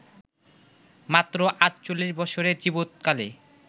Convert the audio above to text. মাত্র ৪৮ বৎসরের জীবৎকালে